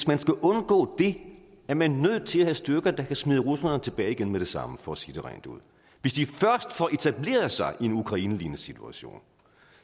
man skal undgå det er man nødt til at have styrker der kan smide russerne tilbage igen med det samme for at sige det rent ud hvis de først får etableret sig i en ukrainelignende situation